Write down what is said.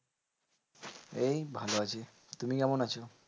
এই ভালো আছি। তুমি কেমন আছো?